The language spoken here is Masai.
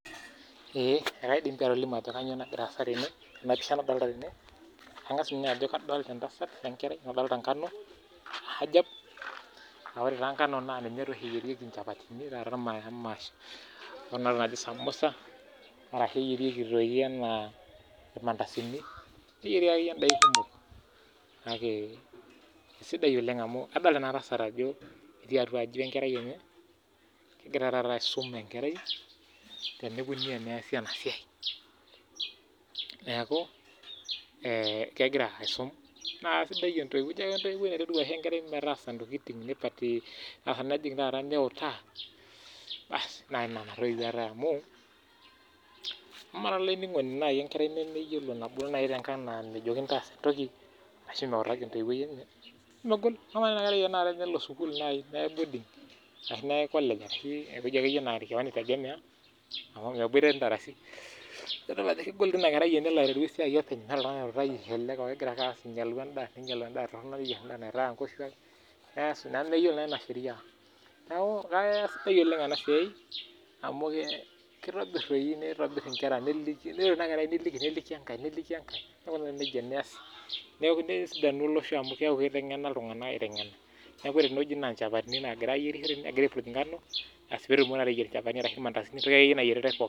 Eeh ekaindim pii atolimu ajo kainyoo nagira aasa tene, tena pisha nadolita tene, kang'as ajo adolita etasat tene, adolita enkerai nadolita enkano ajab, naa ore enkano naa ninye taa oshi eyierieki inchapatini, o ntokitin naaji samosa arashu eyierieki aitoki anaa irmandasini, keyierieki akeyie idaikin kumok kake isidai oleng amu adol ena tasat ajo etii atua aji we nkerai enye egira taata aisuma enkerai tenikoni teneezi ena siai, neeku kegira aisum enkerai enikoni teneezi ena Siaii, naa isidai entoiwuoi naiteru aitodol enkerai kuna baa, naa isidai tenaa nena tooiwuo eetae amu, ama taa naaji olaininingoni enkerai nabulu te nkang naaji nemejokini taasa entoki ashu meutaki entoiwuoi enye emegol ama naaji tenelo ina nkerai sukuul naai neyae boarding ashu collage ewaki akeyie ewueji naa akeyie idol ajo kegoliki ina kerai amu meeta oltungani ooutaki, ninyalu endaa, ninyalu endaa naitaya nkoshuaak, nemeyiolo naa ina sheriaa neeku kisidai oleng ina siaai amu kitobirr doi kitobirr inkera neliki nelo ina kerai neliki enkae neliki enkae nesidanu olosho amu keeku kiteng'ena iltungana aitengena, neeku kore tene wueji naa nchapatini egirae aitobirr egirae aipurrj engabo peetumokini ateyier chapatini arashu irmandasini pooki toki nayieritae.